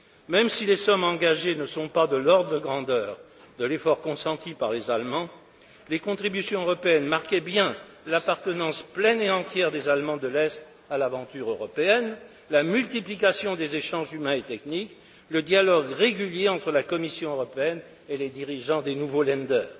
Même si les sommes engagées ne sont pas de l'ordre de grandeur de l'effort consenti par les Allemands, les contributions européennes marquaient bien l'appartenance pleine et entière des Allemands de l'Est à l'aventure européenne, la multiplication des échanges humains et techniques, le dialogue régulier entre la Commission européenne et les dirigeants des nouveaux Länder.